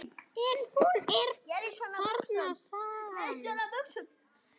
En hún er þarna samt.